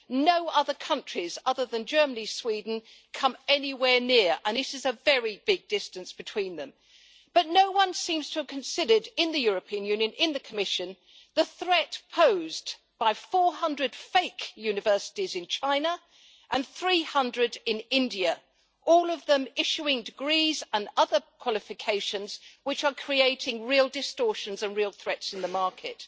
No other countries, other than Germany and Sweden, come anywhere near, and there is a very big distance between them. But no one seems to have considered in the European Union, in the Commission, the threat posed by 400 fake universities in China and 300 in India, all of them issuing degrees and other qualifications which are creating real distortions and real threats in the market.